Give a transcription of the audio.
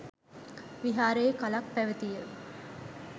විහාරයේ කලක් පැවැතිය